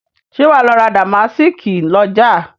Ṣé wà á lọ ra dàmásíìkì lọ́jà?